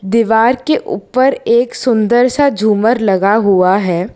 दीवार के ऊपर एक सुंदर सा झुमर लगा हुआ है।